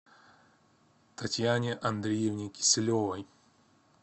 татьяне андреевне киселевой